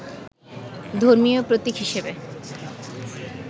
ধর্মীয় প্রতিক হিসেবে